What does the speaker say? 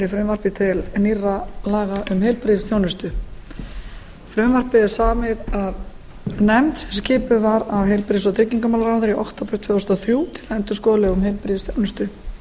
frumvarpið er samið af nefnd sem skipuð var af heilbrigðis og tryggingamálaráðherra í október tvö þúsund og þrjú til að endurskoða lög um heilbrigðisþjónustu